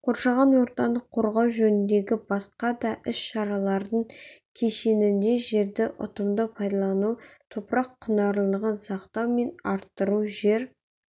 қоршаған ортаны қорғау жөніндегі басқа да іс-шаралардың кешенінде жерді ұтымды пайдалану топырақ құнарлылығын сақтау мен арттыру жер